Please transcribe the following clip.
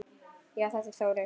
Já, þetta er Þórey.